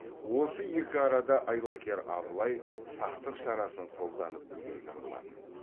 осы екі арада айлакер абылай сақтық шарасын қолданып үлгерген болатын